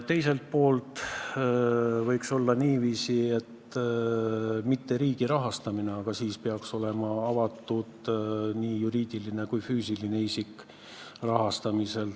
Teiselt poolt võiks olla niiviisi, et ei ole riigi rahastamine, aga siis peaks olema avalik nii juriidilise kui füüsilise isiku tehtav rahastamine.